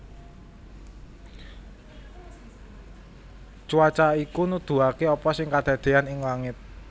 Cuaca iku nuduhaké apa sing kedadéyan ing langit